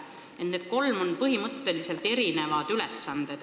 Need kolm on erinevad ülesanded.